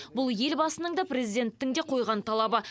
бұл елбасының да президенттің де қойған талабы